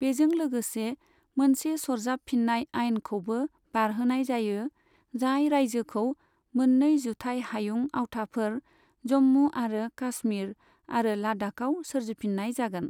बेजों लोगोसे, मोनसे सराजाबफिन्नाय आइनखौबो बारहोनाय जायो, जाय रायजोखौ मोन्नै जुथाइ हायुं आवथाफोर, जम्मु आरो कासमिर आरो लद्दाखआव सोरजिफिन्नाय जागोन।